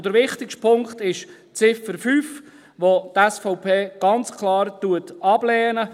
Der wichtigste Punkt ist die Ziffer 5, welche die SVP ganz klar ablehnt.